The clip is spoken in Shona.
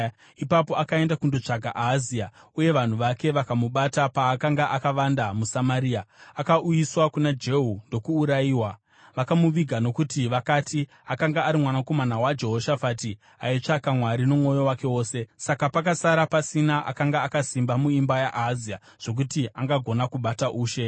Ipapo akaenda kundotsvaka Ahazia, uye vanhu vake vakamubata paakanga akavanda muSamaria. Akauyiswa kuna Jehu, ndokuurayiwa. Vakamuviga nokuti vakati, “Akanga ari mwanakomana waJehoshafati, aitsvaga Mwari nomwoyo wake wose.” Saka pakasara pasina akanga akasimba muimba yaAhazia zvokuti angagona kubata ushe.